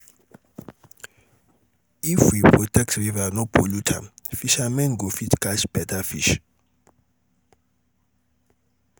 if we protect river no pollute am fishermen go fit catch better fish.